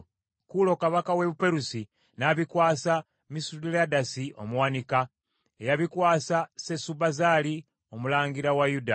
Kuulo kabaka w’e Buperusi n’abikwasa Misuledasi omuwanika, eyabikwasa Sesubazzali omulangira wa Yuda.